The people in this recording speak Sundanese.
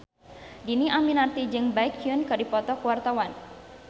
Dhini Aminarti jeung Baekhyun keur dipoto ku wartawan